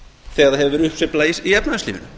þegar það hefur verið uppsveifla í efnahagslífinu